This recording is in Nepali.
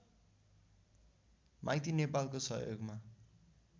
माइती नेपालको सहयोगमा